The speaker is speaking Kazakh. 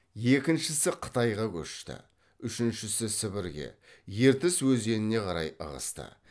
екіншісі қытайға көшті үшіншісі сібірге ертіс өзеніне қарай ығысты